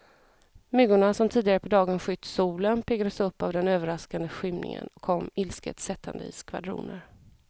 Myggorna som tidigare på dagen skytt solen, piggades upp av den överraskande skymningen och kom ilsket sättande i skvadroner.